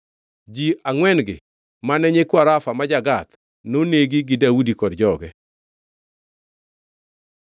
Ji angʼwen-gi mane nyikwa Rafa ma ja-Gath, nonegi gi Daudi kod joge.